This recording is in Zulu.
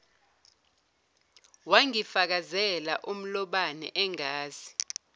wangifakazela umlobane angazi